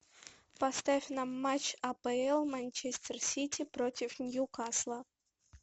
поставь нам матч апл манчестер сити против ньюкасла